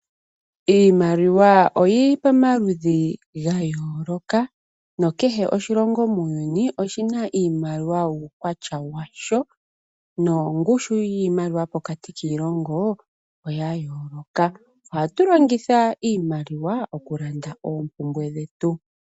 Iimaliwa oyili pamaludhi gayooloka, nokehe oshilongo muuyuni oshina iimaliwa yuukwatya washo, noongushi yiimaliwa pokati kiilongo oya yooloka. Ohatu longitha iimaliwa oku landa oompumbwe dhetu.